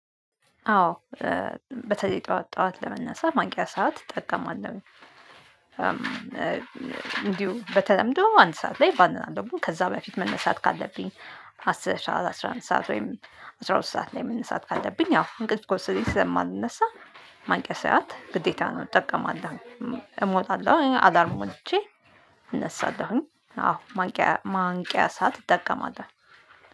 አዎ በተለይ ጠዋት ጠዋት ለመነሳት ማንቂያ ሰዓት እጠቀማለው። እንዲሁ በተለምዶ አንድ ሰዓት ላይ ባንናንድ ደግሞ ከዛ በፊት መነሳት ካለብኝ አስራ አስራ አምስት ሰዓት ወይም አስራ ሁለት ሰዓት ላይ መነሳት ካለብኝ አዎ እንቅልፍ ከወሰደኝ ስለማልነሳ። ማንቀሳት ግዴታ ነው እጠቀማለሁ። እሞታለሁ አዳርም ሞቼ እነሳለሁኝ። አዎ ማንቂያ ማንቂያ ሰዓት እጠቀማል።